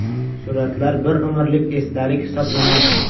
Suratlar – bir umrlik esdalik hisoblanadi.